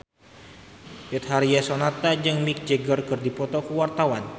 Betharia Sonata jeung Mick Jagger keur dipoto ku wartawan